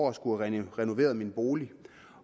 at skulle have renoveret min bolig